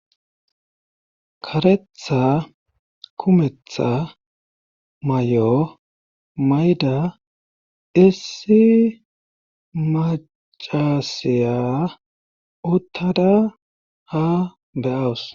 karetha kumetha may7o mayda issi macaasiya uttada ha beyawus